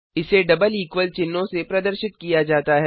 इसे double equal चिन्हों से प्रदर्शित किया जाता है